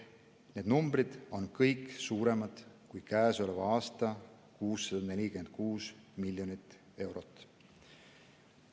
Need numbrid on kõik suuremad kui käesoleva aasta 646 miljonit eurot.